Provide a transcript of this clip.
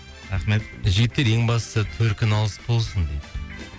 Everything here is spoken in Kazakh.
рахмет жігіттер ең бастысы төркіні алыс болсын дейді